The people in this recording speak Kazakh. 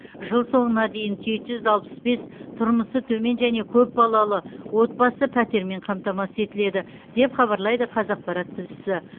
жыл соңына дейін жеті жүз алпыс бес тұрмысы төмен және көпбалалы отбасы пәтермен қамтамасыз етіледі деп хабарлайды қазақпарат тілшісі